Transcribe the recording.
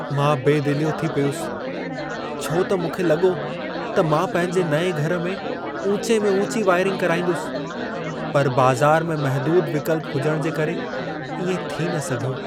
मां बेदिलियो थी पियुसि छो त मूंखे लॻो त मां पंहिंजे नएं घर में ऊचे में ऊची वायरिंग कराईंदुसि, पर बाज़ार में महदूद विकल्प हुजण जे करे इएं थी न सघियो।